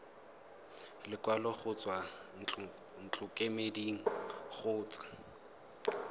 lekwalo go tswa ntlokemeding kgotsa